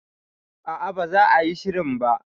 A'a, ba za a yi shirin ba